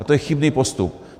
A to je chybný postup.